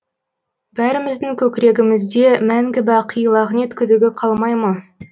бәріміздің көкірегімізде мәңгі бақи лағнет күдігі қалмай ма